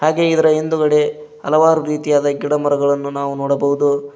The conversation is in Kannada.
ಹಾಗೆ ಇದರ ಹಿಂದುಗಡೆ ಹಲವಾರು ರೀತಿಯಾದ ಗಿಡಮರಗಳನ್ನು ನಾವು ನೋಡಬಹುದು.